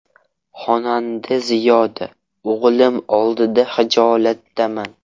Xonanda Ziyoda: O‘g‘lim oldida xijolatdaman.